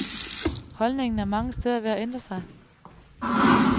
Holdningen er mange steder ved at ændre sig.